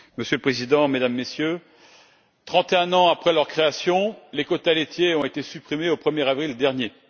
Monsieur le Président, Mesdames et Messieurs, 31 ans après leur création, les quotas laitiers ont été supprimés au 1er avril dernier.